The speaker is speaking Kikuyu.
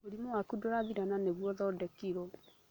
Mũrimũ waku ndũrathira na nĩguo ũthondekirwo